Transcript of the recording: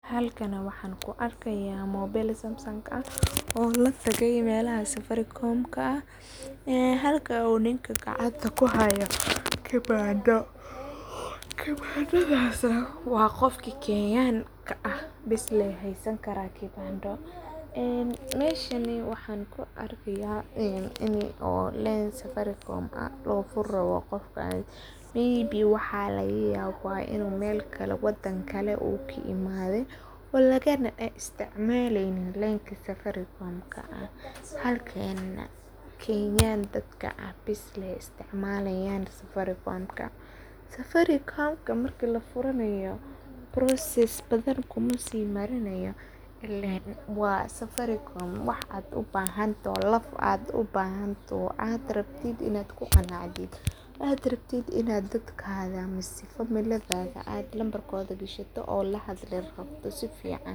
Halkan waxan ku arkaya mobile Samsung ah oo latagay melaha safarikomka ah ee halka uu ninka gacanta kuhaayo kibando, kibandaasa wa qofki kenyanka ah bes Lee haysan karaa kibando, ee meshani waxan ku arkiya ini oo len safaricom loo fur rabo qofkan iyo waxaa lagayaba ini melkale wadan kale uka imaade oo lagana isticmaaleynin lenka sadaricom halka Kenyan dadka ah bes isticmaalayan safarikomka, safarikomka marki lafuranayo process badan kumasii marinayo ileen waa safaricom wax ad ubahantoho laf ad ubahantoho ad rabtid inad kuqanacdid ad rabtid inad dadkada mise familidada od lambarkoda gashatid lahadashid si fican